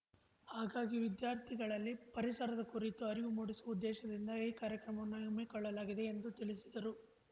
ಹಾಗಾಗಿ ವಿದ್ಯಾರ್ಥಿಗಳಲ್ಲಿ ಪರಿಸರದ ಕುರಿತು ಅರಿವು ಮೂಡಿಸುವ ಉದ್ದೇಶದಿಂದ ಈ ಕಾರ್ಯಕ್ರಮವನ್ನು ಹಮ್ಮಿಕೊಳ್ಳಲಾಗಿದೆ ಎಂದು ತಿಳಿಸಿದರು